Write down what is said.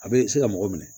A bɛ se ka mɔgɔ minɛ